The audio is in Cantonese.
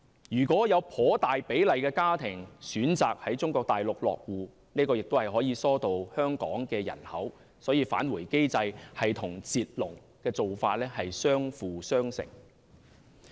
如果有頗大比例的家庭選擇在中國大陸落戶，這樣也可以疏導香港的人口，所以"返回機制"與"截龍"的做法相輔相成。